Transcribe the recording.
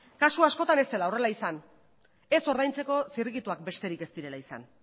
kasu askotan ez dela horrela izan ez ordaintzeko zirrikituak besterik ez direla izan